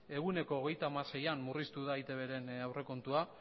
ehuneko hogeita hamaseian murriztu da eitbren aurrekontua